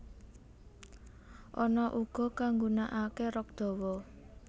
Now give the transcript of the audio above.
Ana uga kang nggunakake rok dawa